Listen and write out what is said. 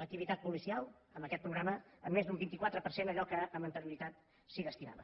l’activitat policial amb aquest programa en més d’un vint quatre per cent a allò que amb anterioritat s’hi destinava